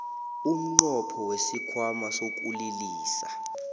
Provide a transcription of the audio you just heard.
umnqopho wesikhwama sokulilisa